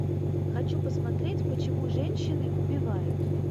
хочу посмотреть почему женщины убивают